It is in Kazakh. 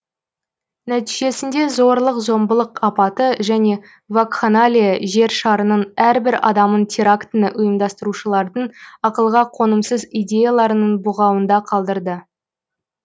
нәтижесінде зорлық зомбылық апаты және вакханалия жер шарының әрбір адамын терактіні ұйымдастырушылардың ақылға қонымсыз идеяларының бұғауында қалдырды